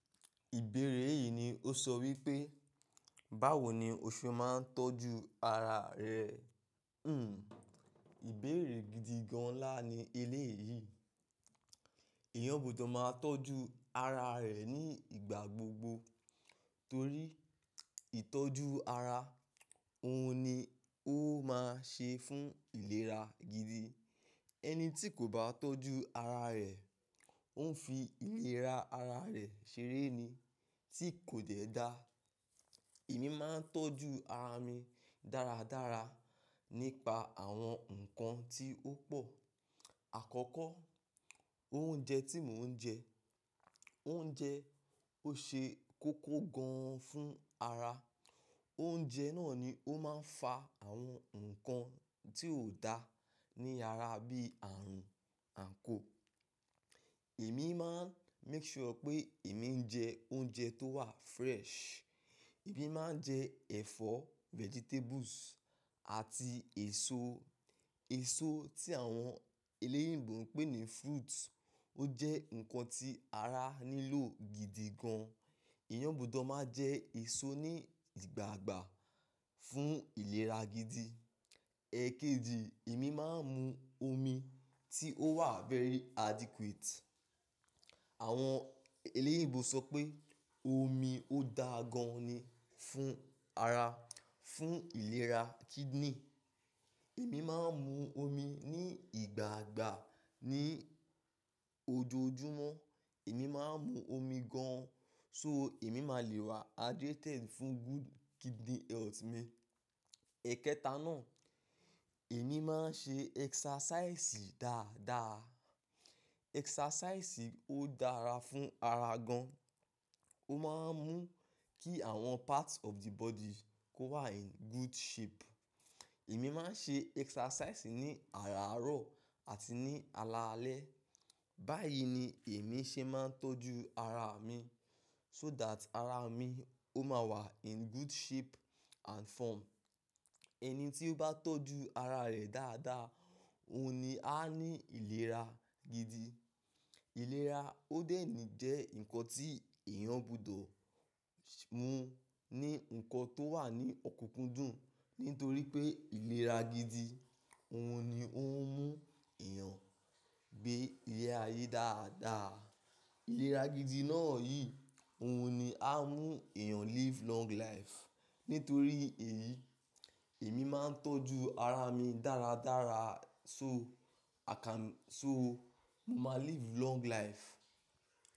Ìbéèrè yìí ni ó sọ wípé, báwo ni o ṣe máa ń tọ́jú ara rẹ? Hmm. Ìbéèrè gidi gan-an ńlá ni eléyìí. Èèyàn gbudọ̀ máa tọ́jú ara rẹ̀ ní ìgbà gbogbo torí ìtọ́jú ara, òun ni ó máa ṣe fún ìlera gidi. Ẹni tí kò bá tọ́jú ara rẹ̀, òun fi ìlera ara rẹ̀ ṣeré ni, tí kò dẹ̀ dá. Èmi máa ń tọ́jú ara mi dáradára nípa àwọn nǹkan tí ó pọ̀. Àkọ́kọ́, oúnjẹ tí mò ń jẹ. Oúnjẹ ó ṣe kókó gan-an fún ara. Oúnjẹ náà ni ó máa ń fa àwọn nǹkan tí ò dá ní ara bí ààrùn àko. Èmi máa ń make sure pé èmi ń jẹ oúnjẹ tó wà fresh. Èmi máa ń jẹ ẹ̀fọ́, vegetables àti èso. Èso tí àwọn eléyìnbò ń pè ní fruits, ó jẹ́ nǹkan tí ara nílò gidi gan. Èèyàn gbudọ̀ máa jẹ èso ní ìgbààgbà fún ìlera gidi. Ẹ̀kejì, èmi máa ń mu omi tí ó wà very adequate. Àwọn eléyìnbò sọ pé omi ó dáa gan-an ni fún ara, fún ìlera kidney. Èmi máa ń mu omi ní ìgbààgbà. Ní ojoojúmọ́, èmi máa ń mu omi gan-an. So èmi máa lè wà hydrated fún good kidney health mi. Ẹ̀kẹta náà, èmi máa ń ṣe exercise dáadáa. Exercise ó dára fún ara gan. Ó máa ń mú kí àwọn parts of the body kó wà in good shape. Èmi máa ń ṣe exercise ní àárọ̀ àti ní alaalẹ́. Báyìí ni èmi ṣe máa ń tọ́jú ara mi. So that ara mi ó máa wà in good shape and form. Ẹni tí ó bá tọ́jú ara rẹ̀ dáadáa, òun ni á ní ìlera gidi. Ìlera ó dẹ̀nì jẹ́ nǹkan tí èèyàn gbudọ̀ mú ní nǹkan tó wà ní ọ̀kunkún dùn. Nítorí pé ìlera gidi, òun ni ó ń mú èèyàn gbé ilé ayé dáadáa. Ìlera gidi náà yìí, òun ni á mú èèyàn live long life. Nítorí èyí, èmi máa ń tọ́jú ara mi dáradára so i can-- so mo máa live long life.